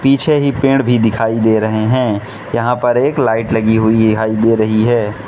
पीछे ही पेड़ भी दिखाई दे रहे हैं यहां पर एक लाइट लगी हुई दिखाई दे रही है।